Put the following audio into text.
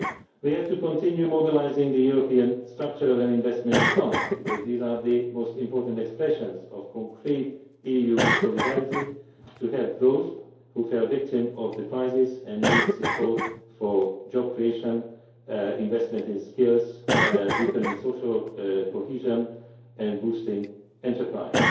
We have to continue mobilising the European structural and investment funds, because these are the most important expressions of concrete EU solidarity to help those who fell victim to the crisis and need support for job creation, investment in skills, deepening social cohesion and boosting enterprise.